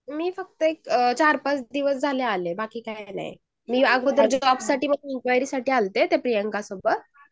मी फक्त चार पाच दिवस जझले आले बाकी काही नाही. मी जॉबसाठी इन्क्वायरी साठी आले होते त्या प्रियांका सोबत